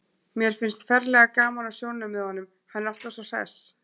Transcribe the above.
Mér finnst ferlega gaman á sjónum með honum, hann er alltaf svo hress.